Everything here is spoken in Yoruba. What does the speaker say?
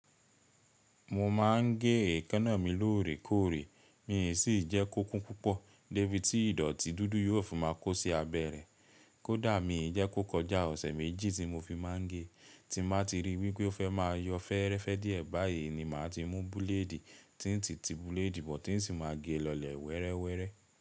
Mo máa ń gé èékáná mi lóòrèkóòrè, mi ò sì jẹ́ kókún púpọ̀. Débí tí ìdọ̀tí dúdú yóò fi máa kó sí abẹ rẹ̀. Kódà mi ì jẹ́ kó kọjá ọ̀sẹ̀ méjì tí mo fi máa ń gé, ti mo bá ti rí wí pé ó fẹ́ máa yọ fẹ́ẹ́rẹ́fẹ́ díẹ̀ báyìí ni màá ti mú búlédì, tíìntì ti búlédì bọ̀ tí ń sì máa gé e lọlẹ̀ wẹ́rẹ́wẹ́rẹ́.